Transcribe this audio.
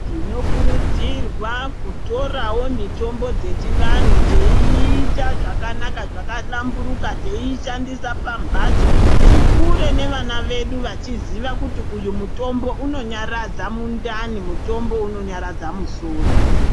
Tinokurudzirwawo kutorawo mitombo dzechiantu teiita zvakanaka, zvakahlamburuka teiishandisa nevana vedu, tikure nevana vedu vachiziva kuti uyu mutombo unonyaradza mundani, mutombo unonyaradza musoro.